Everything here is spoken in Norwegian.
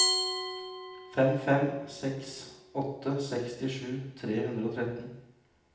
fem fem seks åtte sekstisju tre hundre og tretten